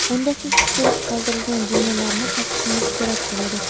Unda siz tushirib qoldirilgan jumlalarni topishingiz kerak bo‘ladi.